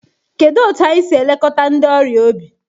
Kedu otu anyị si elekọta ndị ọrịa obi?